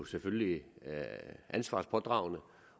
selvfølgelig ansvarspådragende